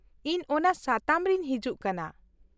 -ᱤᱧ ᱚᱱᱟ ᱥᱟᱛᱟᱢ ᱨᱤᱧ ᱦᱤᱡᱩᱜ ᱠᱟᱱᱟ ᱾